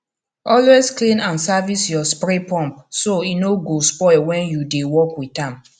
always clean and service your spray pump so e no go spoil when you dey work with am